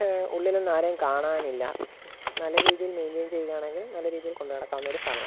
എവ് ഉള്ളിലൊന്നും ആരേം കാണാനില്ല നല്ല രീതിയിൽ മെയിൻ്റൈൻ ചെയാണെങ്കിൽ നല്ല രീതിയിൽ കൊണ്ട് നടക്കാവുന്ന ഒരു സ്ഥാപനമാ--